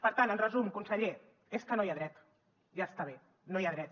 per tant en resum conseller és que no hi ha dret ja està bé no hi ha dret